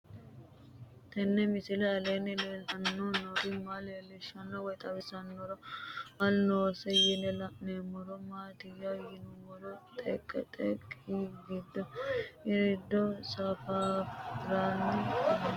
Tenni misile aleenni leelittanni nootti maa leelishshanno woy xawisannori may noosse yinne la'neemmori maattiya yinummoro xeeqette giddo iride safarrara fanoonnitti noo